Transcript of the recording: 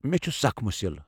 مےٚ چھ سخت مُسِل۔